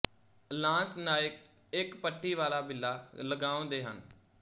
lance naik ਇੱਕ ਪੱਟੀ ਵਾਲਾ ਬਿੱਲਾ ਲਗਾਉਂਦੇ ਹਨ